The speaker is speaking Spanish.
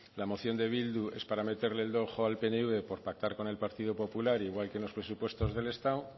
la moción de bildu es para meterle el dedo en el ojo al pnv por pactar con el partido popular igual que en los presupuestos del estado